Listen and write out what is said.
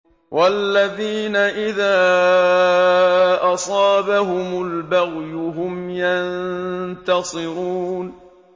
وَالَّذِينَ إِذَا أَصَابَهُمُ الْبَغْيُ هُمْ يَنتَصِرُونَ